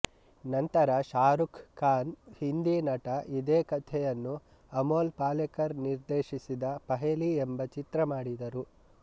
ನಂತರ ಶಾರುಖ್ ಖಾನ್ ಹಿಂದಿ ನಟ ಇದೇ ಕಥೆಯನ್ನು ಅಮೊಲ್ ಪಲೆಕರ್ ನಿರ್ದೇಶಿಸಿದ ಪಹೆಲಿ ಎಂಬ ಚಿತ್ರ ಮಾಡಿದರು